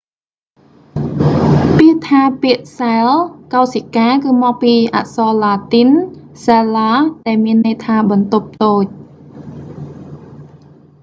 ពាក្យថា ពាក្យ cell កោសិកា គឺមកពីអក្សរឡាទីន cella សែឡា ដែលមានន័យថា បន្ទប់តូច